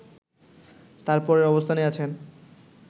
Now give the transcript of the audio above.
তার পরের অবস্থানেই আছেন